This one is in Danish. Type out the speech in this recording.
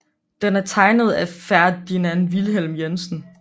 Den er tegnet af Ferdinand Vilhelm Jensen